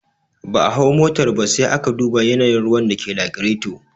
Ba a hau motar ba, sai aka duba yanayin ruwan da ke lagireto